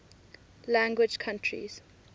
language countries